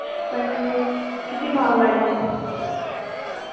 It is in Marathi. पण किती भाव वाढले